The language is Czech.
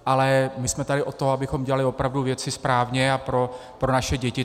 Ale my jsme tady od toho, abychom dělali opravdu věci správně a pro naše děti.